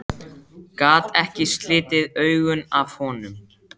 Gat ekki slitið augun af honum.